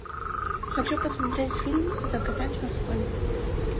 хочу посмотреть фильм закатать в асфальт